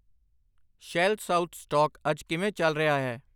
shell South stock ਅੱਜ ਕਿਵੇਂ ਚੱਲ ਰਿਹਾ ਹੈ